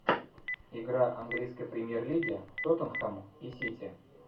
игра английской премьер лиги тоттенхэм и сити